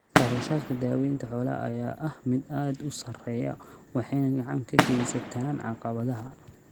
Kharashaadka daawaynta xoolaha ayaa ah mid aad u sarreeya waxayna gacan ka geystaan ??caqabadaha.